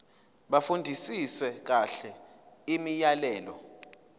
bafundisise kahle imiyalelo